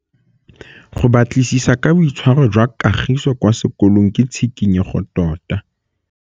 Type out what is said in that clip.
Go batlisisa ka boitshwaro jwa Kagiso kwa sekolong ke tshikinyêgô tota.